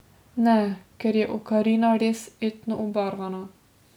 Ne, ker je Okarina res etno obarvana.